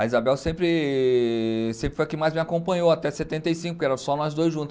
A Isabel sempre sempre foi a que mais me acompanhou até setenta e cinco, porque era só nós dois juntos.